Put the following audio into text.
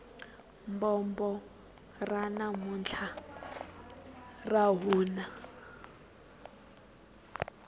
bombo ra namuntlha ra nuha